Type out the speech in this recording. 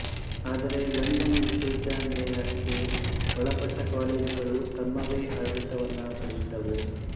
ಆದರೆ ಲಂಡನ್ ವಿಶ್ವವಿದ್ಯಾನಿಲಯಕ್ಕೆ ಒಳಪಟ್ಟ ಕಾಲೇಜುಗಳು ತಮ್ಮವೇ ಆಡಳಿತಗಳನ್ನು ಪಡೆದಿದ್ದುವು